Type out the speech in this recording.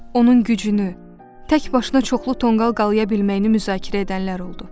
onun gücünü, tək başına çoxlu tonqal qalaya bilməyini müzakirə edənlər oldu.